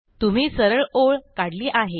तुम्ही सरळ ओळ काढली आहे